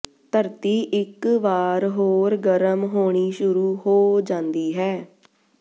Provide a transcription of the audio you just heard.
ਧਰਤੀ ਇਕ ਵਾਰ ਹੋਰ ਗਰਮ ਹੋਣੀ ਸ਼ੁਰੂ ਹੋ ਜਾਂਦੀ ਹੈ